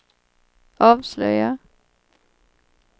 avslöjar